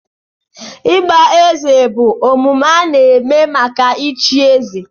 Ịgba eze bụ omume omenala maka ịchi eze.